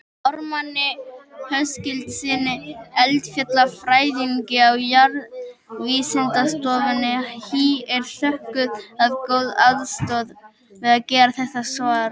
Ármanni Höskuldssyni eldfjallafræðingi á Jarðvísindastofnun HÍ er þökkuð góð aðstoð við gerð þessa svars.